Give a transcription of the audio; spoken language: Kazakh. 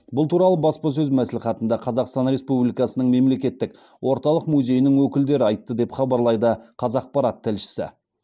бұл туралы баспасөз мәслихатында қазақстан республикасының мемлекеттік орталық музейінің өкілдері айтты деп хабарлайды қазақпарат тілшісі